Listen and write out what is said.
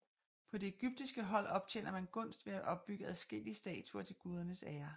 På det egyptiske hold optjener man gunst ved at bygge adskillige statuer til gudernes ære